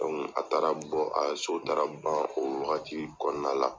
a taara bɔ ka so taara ban o wagati kɔnɔna la.